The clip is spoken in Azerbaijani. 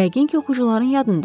yəqin ki, oxucuların yadındadır.